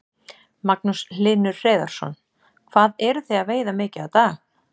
Magnús Hlynur Hreiðarsson: Hvað eruð þið að veiða mikið á dag?